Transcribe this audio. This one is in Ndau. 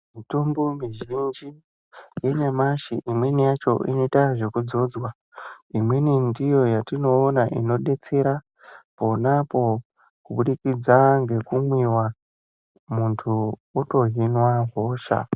Mitombo mizhinji yanyamashi imweni yacho inoitwa zvekudzodzwa imweni ndiyo yatinoona inobetsera ponapo kubudikidza nekumwiwa muntu otohinwa hosha.